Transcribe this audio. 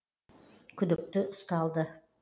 күдікті ұсталды